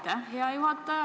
Aitäh, hea juhataja!